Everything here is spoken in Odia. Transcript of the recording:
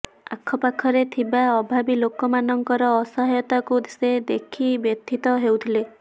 ଆଖପାଖରେ ଥିବା ଅଭାବୀ ଲୋକମାନଙ୍କର ଅସହାୟତାକୁ ସେ ଦେଖି ବ୍ୟଥିତ ହେଉଥିଲେ